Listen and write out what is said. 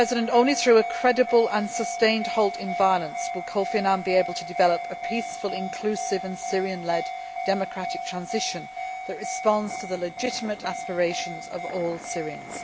Only through a credible and sustained halt to violence will Kofi Annan be able to develop a peaceful, inclusive and Syrian led democratic transition that responds to the legitimate aspirations of all Syrians.